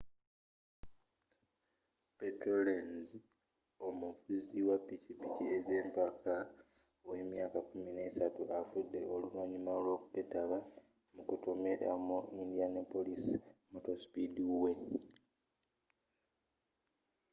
petero lenz omuvuzi wa pikipiki ez'empaka ow'emyaka 13 afudde oluvanyuma lw'okwetaba mu kutomera mu indianapolis motor speed way